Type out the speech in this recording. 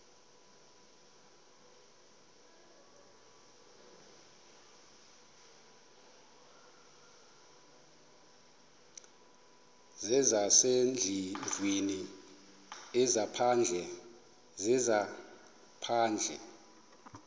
zezasendlwini ezaphandle zezaphandle